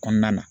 Kɔnɔna na